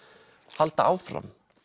halda áfram